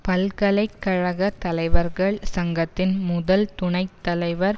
பல்கலை கழக தலைவர்கள் சங்கத்தின் முதல் துணை தலைவர்